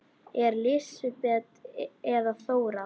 Ertu Lísibet eða Þóra?